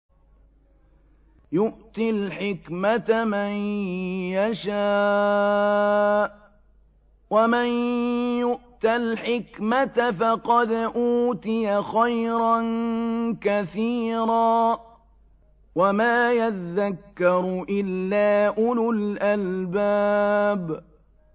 يُؤْتِي الْحِكْمَةَ مَن يَشَاءُ ۚ وَمَن يُؤْتَ الْحِكْمَةَ فَقَدْ أُوتِيَ خَيْرًا كَثِيرًا ۗ وَمَا يَذَّكَّرُ إِلَّا أُولُو الْأَلْبَابِ